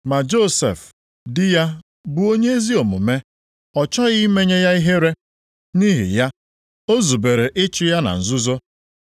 Ma Josef di ya bụ onye ezi omume, ọ chọghị imenye ya ihere, nʼihi ya, o zubere ịchụ ya na nzuzo.